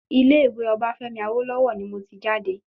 Ilé ìwé Obafemi Awolowo ni mo ti jáde